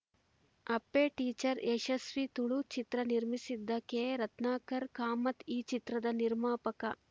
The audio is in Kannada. ಅಪ್ಪೆ ಟೀಚರ್‌ ಯಶಸ್ವೀ ತುಳು ಚಿತ್ರ ನಿರ್ಮಿಸಿದ್ದ ಕೆ ರತ್ನಾಕರ ಕಾಮತ್‌ ಈ ಚಿತ್ರದ ನಿರ್ಮಾಪಕ